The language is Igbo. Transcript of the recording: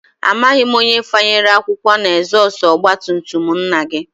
Amaghị m onye fanyere akwụkwọ n'ezọstụ ọgbatumtum nna gị